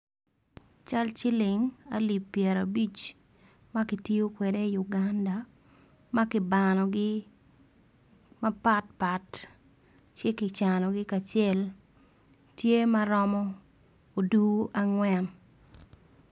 Cal ciling alip pyera abic makitiyo kwede i Uganda maki banogi mapat pat ci kicanogi kacel tye maromo odur angwen.